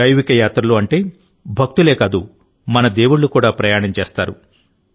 దైవిక యాత్రలు అంటే భక్తులే కాదు మన దేవుళ్లు కూడా ప్రయాణం చేస్తారు